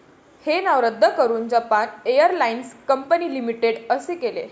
हे नाव रद्द करून जपान एअरलाइन्स कंपनी लिमिटेड असे केले.